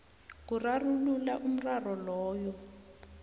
kurarulula umraro loyo